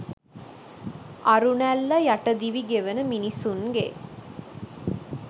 අරුණැල්ල යට දිවි ගෙවන මිනිසුන්ගේ